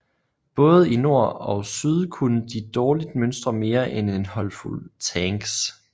Både i nord ogsyd kunne de dårligt mønstre mere end en håndfuld tanks